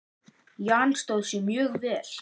Jan stóð sig mjög vel.